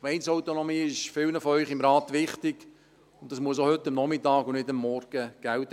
Gemeindeautonomie ist vielen unter Ihnen hier im Rat wichtig, und das muss auch heute Nachmittag und nicht nur am Morgen gelten.